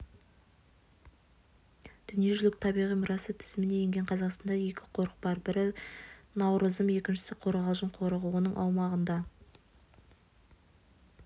дүниежүзілік табиғи мұрасы тізіміне енген қазақстанда екі қорық бар бірі науырзым екіншісі қорғалжын қорығы оның аумағында